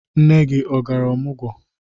Nne gị ọ gara ọmụgwọ?